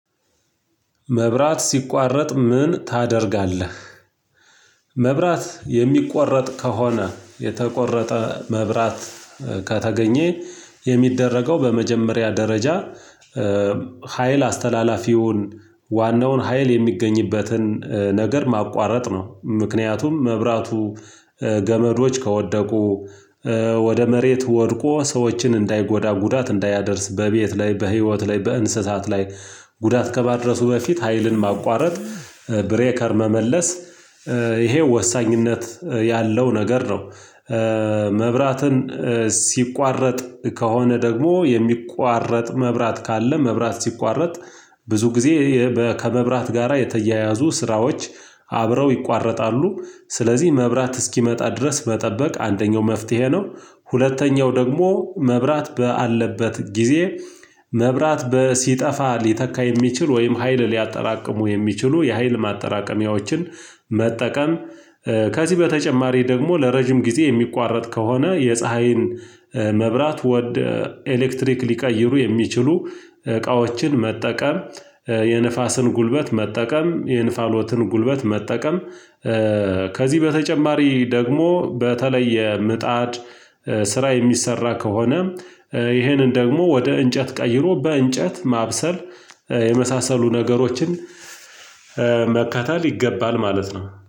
መብራት ሲቋረጥ ምን ታደርጋለህ? መብራት የሚቆረጥ ከሆነ የተቆረጠ መብራት ከተገኘ የሚደረገው በመጀመሪያ ደረጃ ሀይል አስተላላፊውን ዋናውን ሀይል የሚገኝበትን ነገር ማቋረጥ ነው ምክንያቱም መብራቱ ገመዶች ከወደቁ ወደ መሬት ወድቆ ሰዎችን እንዳይጎዳ ጉዳት እንዳያደርስ በቤት ላይ በህይወት ላይ በእንስሳት ላይ ጉዳት ከማድረሱ በፊት ሀይልን ማቋረጥ ብሬከር መመለስ ይሄው ወሳኝነት ያለው ነገር ነው። መብራትን ሲቋረጥ ከሆነ ደግሞ የሚቋረጥ መብራት ካለ መብራት ሲቋረጥ ብዙ ጊዜ ከመብራት ጋራ የተያያዙ ስራዎች አብረው ይቋረጣሉ ስለዚህ መብራት እስኪመጣ ድረስ መጠበቅ አንደኛው መፍትሄ ነው። ሁለተኛው ደግሞ መብራት ባለበት ጊዜ መብራት ሲጠፋ ሊተካ የሚችል ወይም ሀይል ሊያጠራቅሙ የሚችሉ የሀይል ማጠራቀሚያዎችን መጠቀም ከዚህ በተጨማሪ ደግሞ ለረጅም ጊዜ የሚቋረጥ ከሆነ የፀሀይን መብራት ወደ ኤሌክትሪክ ሊቀይሩ የሚችሉ እቃዎችን መጠቀም የንፋስን ጉልበት መጠቀም የንፋሎትን ጉልበት መጠቀም። ከዚህ በተጨማሪ ደግሞ በተለየ ምጣድ ስራ የሚሰራ ከሆነ ይሄንን ደግሞ ወደ እንጨት ቀይሮ በእንጨት ማብሰል የመሳሰሉ ነገሮችን መከተል ይገባል ማለት ነው